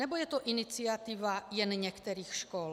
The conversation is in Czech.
Nebo je to iniciativa jen některých škol?